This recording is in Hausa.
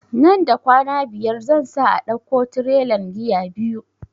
Nan da kwana biyar zan sa a dauko tirelan giya biyu